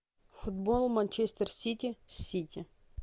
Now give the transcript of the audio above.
футбол манчестер сити с сити